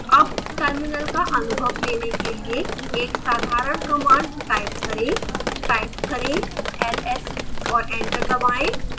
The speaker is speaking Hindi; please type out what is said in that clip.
अब terminal का अनुभव लेने के लिए एक साधारण command type करें type करें ls और एंटर दबाएं